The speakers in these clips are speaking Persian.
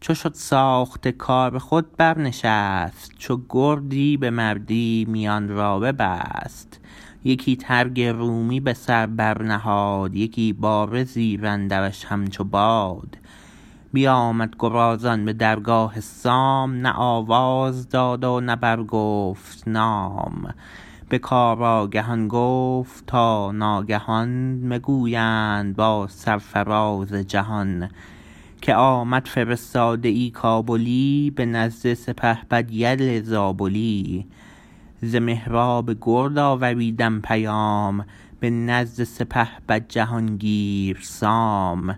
چو شد ساخته کار خود بر نشست چو گردی به مردی میان را ببست یکی ترگ رومی به سر بر نهاد یکی باره زیراندرش همچو باد بیامد گرازان به درگاه سام نه آواز داد و نه برگفت نام به کار آگهان گفت تا ناگهان بگویند با سرفراز جهان که آمد فرستاده ای کابلی به نزد سپهبد یل زابلی ز مهراب گرد آوریده پیام به نزد سپهبد جهانگیر سام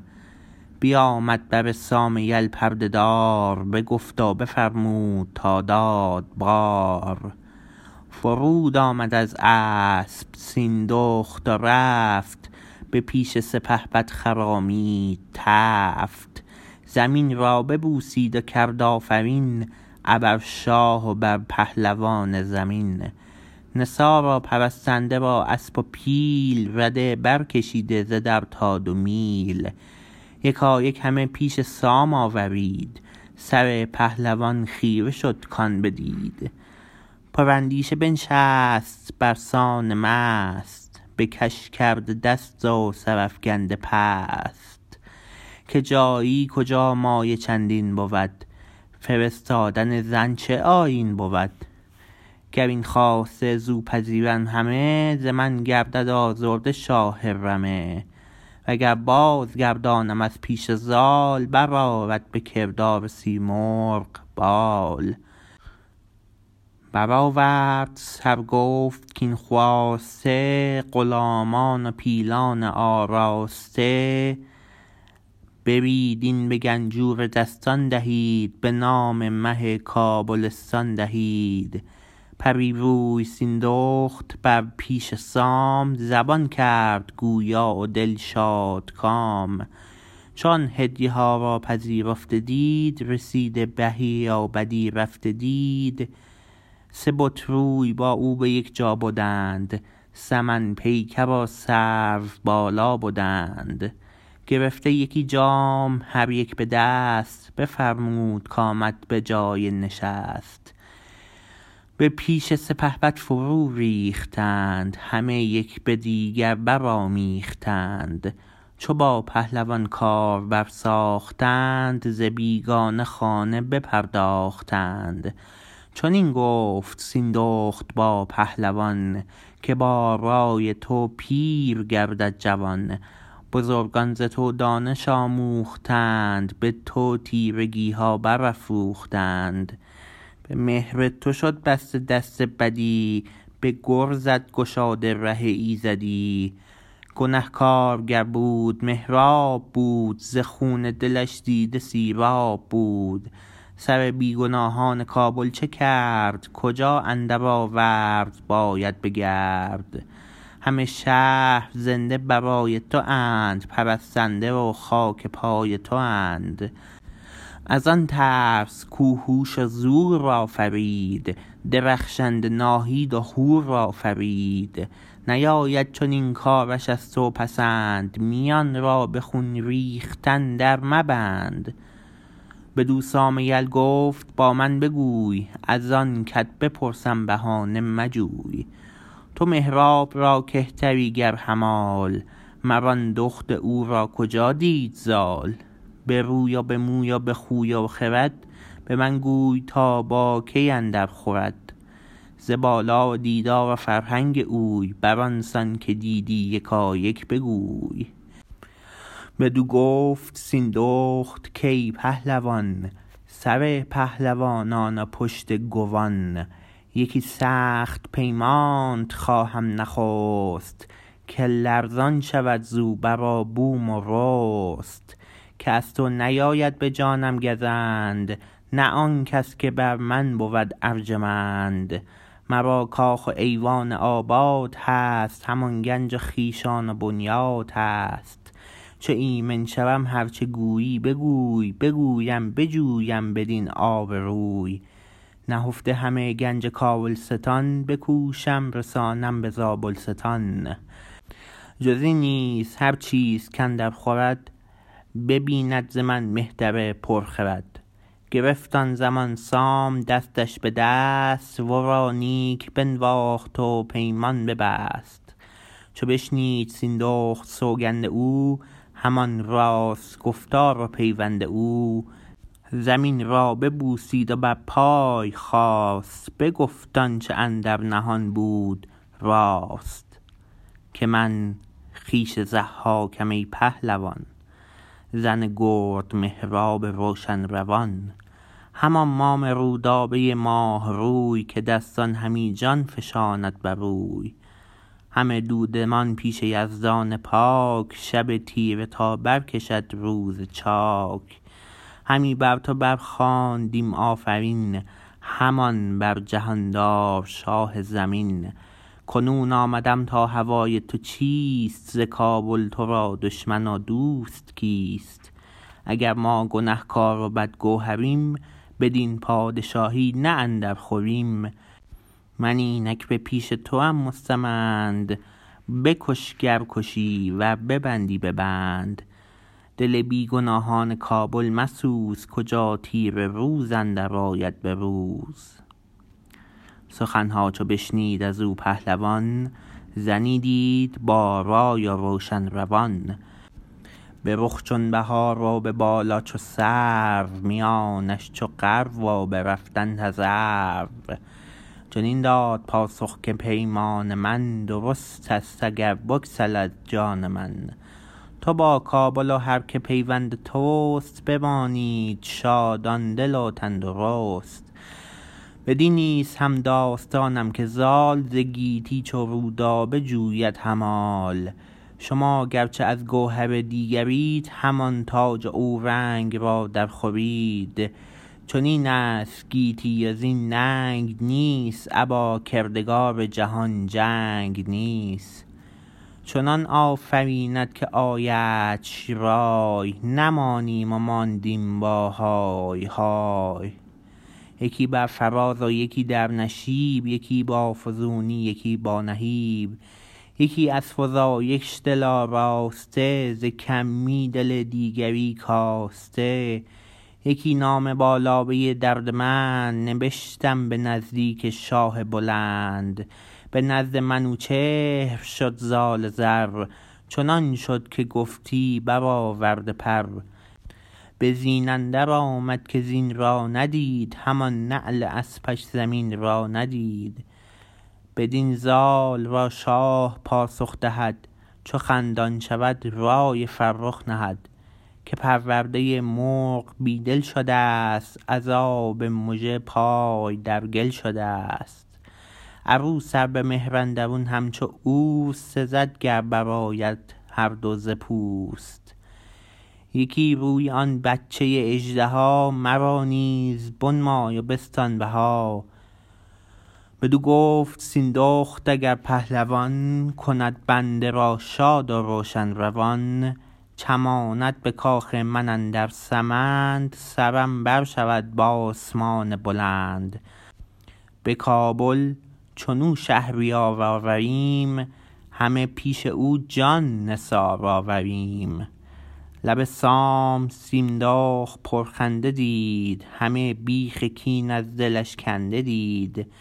بیامد بر سام یل پرده دار بگفت و بفرمود تا داد بار فرود آمد از اسپ سیندخت و رفت به پیش سپهبد خرامید تفت زمین را ببوسید و کرد آفرین ابر شاه و بر پهلوان زمین نثار و پرستنده و اسپ و پیل رده بر کشیده ز در تا دو میل یکایک همه پیش سام آورید سر پهلوان خیره شد کان بدید پر اندیشه بنشست برسان مست بکش کرده دست و سرافگنده پست که جایی کجا مایه چندین بود فرستادن زن چه آیین بود گراین خواسته زو پذیرم همه ز من گردد آزرده شاه رمه و گر بازگردانم از پیش زال برآرد به کردار سیمرغ بال برآورد سر گفت کاین خواسته غلامان و پیلان آراسته برید این به گنجور دستان دهید به نام مه کابلستان دهید پری روی سیندخت بر پیش سام زبان کرد گویا و دل شادکام چو آن هدیه ها را پذیرفته دید رسیده بهی و بدی رفته دید سه بت روی با او به یک جا بدند سمن پیکر و سرو بالا بدند گرفته یکی جام هر یک به دست بفرمود کامد به جای نشست به پیش سپهبد فرو ریختند همه یک به دیگر برآمیختند چو با پهلوان کار بر ساختند ز بیگانه خانه بپرداختند چنین گفت سیندخت با پهلوان که با رای تو پیر گردد جوان بزرگان ز تو دانش آموختند به تو تیرگیها برافروختند به مهر تو شد بسته دست بدی به گرزت گشاده ره ایزدی گنهکار گر بود مهراب بود ز خون دلش دیده سیراب بود سر بیگناهان کابل چه کرد کجا اندر آورد باید بگرد همه شهر زنده برای تواند پرستنده و خاک پای تواند ازان ترس کو هوش و زور آفرید درخشنده ناهید و هور آفرید نیاید چنین کارش از تو پسند میان را به خون ریختن در مبند بدو سام یل گفت با من بگوی ازان کت بپرسم بهانه مجوی تو مهراب را کهتری گر همال مر آن دخت او را کجا دید زال به روی و به موی و به خوی و خرد به من گوی تا باکی اندر خورد ز بالا و دیدار و فرهنگ اوی بران سان که دیدی یکایک بگوی بدو گفت سیندخت کای پهلوان سر پهلوانان و پشت گوان یکی سخت پیمانت خواهم نخست که لرزان شود زو بر و بوم و رست که از تو نیاید به جانم گزند نه آنکس که بر من بود ارجمند مرا کاخ و ایوان آباد هست همان گنج و خویشان و بنیاد هست چو ایمن شوم هر چه گویی بگوی بگویم بجویم بدین آب روی نهفته همه گنج کابلستان بکوشم رسانم به زابلستان جزین نیز هر چیز کاندر خورد ببیند ز من مهتر پر خرد گرفت آن زمان سام دستش به دست ورا نیک بنواخت و پیمان ببست چو بشنید سیندخت سوگند او همان راست گفتار و پیوند او زمین را ببوسید و بر پای خاست بگفت آنچه اندر نهان بود راست که من خویش ضحاکم ای پهلوان زن گرد مهراب روشن روان همان مام رودابه ماه روی که دستان همی جان فشاند بروی همه دودمان پیش یزدان پاک شب تیره تا برکشد روز چاک همی بر تو بر خواندیم آفرین همان بر جهاندار شاه زمین کنون آمدم تا هوای تو چیست ز کابل ترا دشمن و دوست کیست اگر ما گنهکار و بدگوهریم بدین پادشاهی نه اندر خوریم من اینک به پیش توام مستمند بکش گر کشی ور ببندی ببند دل بیگناهان کابل مسوز کجا تیره روز اندر آید به روز سخنها چو بشنید ازو پهلوان زنی دید با رای و روشن روان به رخ چون بهار و به بالا چو سرو میانش چو غرو و به رفتن تذرو چنین داد پاسخ که پیمان من درست است اگر بگسلد جان من تو با کابل و هر که پیوند تست بمانید شادان دل و تن درست بدین نیز همداستانم که زال ز گیتی چو رودابه جوید همال شما گرچه از گوهر دیگرید همان تاج و اورنگ را در خورید چنین است گیتی وزین ننگ نیست ابا کردگار جهان جنگ نیست چنان آفریند که آیدش رای نمانیم و ماندیم با های های یکی بر فراز و یکی در نشیب یکی با فزونی یکی با نهیب یکی از فزایش دل آراسته ز کمی دل دیگری کاسته یکی نامه با لابه دردمند نبشتم به نزدیک شاه بلند به نزد منوچهر شد زال زر چنان شد که گفتی برآورده پر به زین اندر آمد که زین را ندید همان نعل اسپش زمین را ندید بدین زال را شاه پاسخ دهد چو خندان شود رای فرخ نهد که پرورده مرغ بی دل شدست از آب مژه پای در گل شدست عروس ار به مهر اندرون همچو اوست سزد گر برآیند هر دو ز پوست یکی روی آن بچه اژدها مرا نیز بنمای و بستان بها بدو گفت سیندخت اگر پهلوان کند بنده را شاد و روشن روان چماند به کاخ من اندر سمند سرم بر شود به آسمان بلند به کابل چنو شهریار آوریم همه پیش او جان نثار آوریم لب سام سیندخت پرخنده دید همه بیخ کین از دلش کنده دید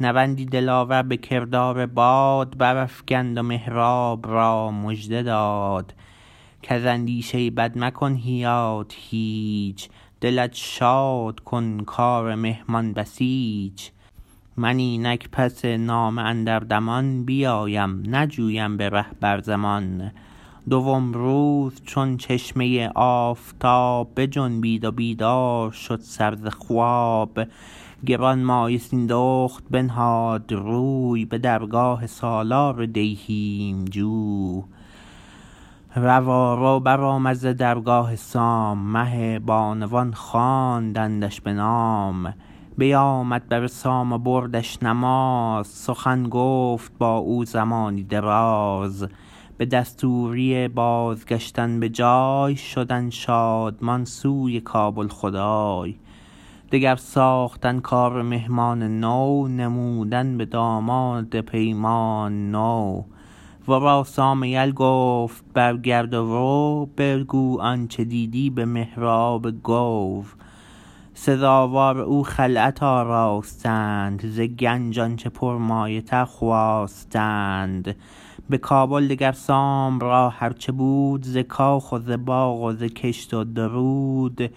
نوندی دلاور به کردار باد برافگند و مهراب را مژده داد کز اندیشه بد مکن یاد هیچ دلت شاد کن کار مهمان بسیچ من اینک پس نامه اندر دمان بیایم نجویم به ره بر زمان دوم روز چون چشمه آفتاب بجنبید و بیدار شد سر ز خواب گرانمایه سیندخت بنهاد روی به درگاه سالار دیهیم جوی روارو برآمد ز درگاه سام مه بانوان خواندندش به نام بیامد بر سام و بردش نماز سخن گفت بااو زمانی دراز به دستوری بازگشتن به جای شدن شادمان سوی کابل خدای دگر ساختن کار مهمان نو نمودن به داماد پیمان نو ورا سام یل گفت برگرد و رو بگو آنچه دیدی به مهراب گو سزاوار او خلعت آراستند ز گنج آنچه پرمایه تر خواستند بکابل دگر سام را هر چه بود ز کاخ و زباغ و زکشت و درود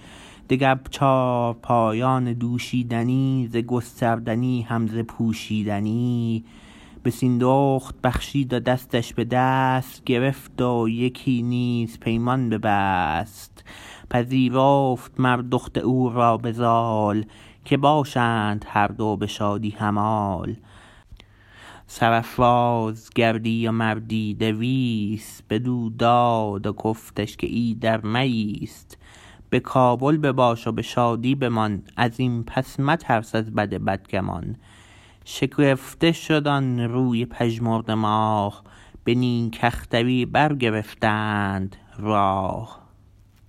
دگر چارپایان دوشیدنی ز گستردنی هم ز پوشیدنی به سیندخت بخشید و دستش بدست گرفت و یکی نیز پیمان ببست پذیرفت مر دخت او را بزال که باشند هر دو بشادی همال سرافراز گردی و مردی دویست بدو داد و گفتش که ایدر مایست به کابل بباش و به شادی بمان ازین پس مترس از بد بدگمان شگفته شد آن روی پژمرده ماه به نیک اختری برگرفتند راه